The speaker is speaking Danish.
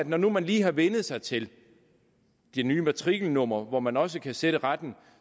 man nu lige har vænnet sig til det nye matrikelnummer hvor man også kan sætte retten